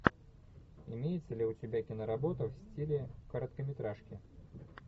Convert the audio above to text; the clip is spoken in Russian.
имеется ли у тебя киноработа в стиле короткометражки